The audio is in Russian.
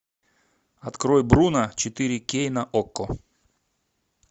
открой бруно четыре кей на окко